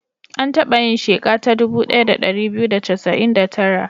An taba yin sheka ta dubu ɗaya da ɗari biyu da casa'in da tara.